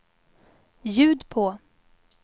ljud på